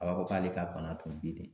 A b'a fɔ k'ale ka bana tun bɛ dei.